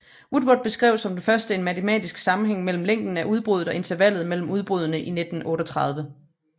Woodward beskrev som den første en matematisk sammenhæng mellem længden af udbruddet og intervallet mellem udbruddene i 1938